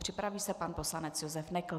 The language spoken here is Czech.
Připraví se pan poslanec Josef Nekl.